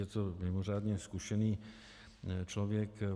Je to mimořádně zkušený člověk.